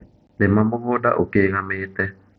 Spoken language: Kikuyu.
lĩma mũgũnda ũkĩgamĩte